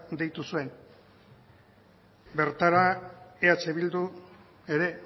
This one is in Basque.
deitu zuen bertara eh bildu ere